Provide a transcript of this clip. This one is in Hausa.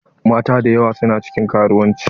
Mata dayawa su na cikin karuwanci.